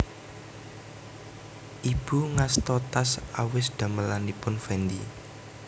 Ibu ngasta tas awis damelanipun Fendi